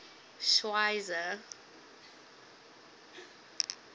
schweizer